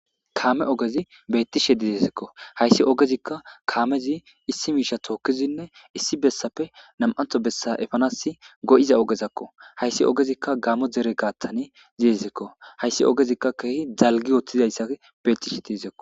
Kame ogezi bethshe de'es ha ogezikka kamezikka issi misha tokkidi issi bessape nam'antho bessa go'iza ogekko.hayssi ogezikka gamo dere gathan de'izayssako.hayssi ogezikka kehi dalggi uttidayssi bettizayssako.